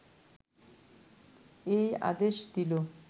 এই আদেশ দিল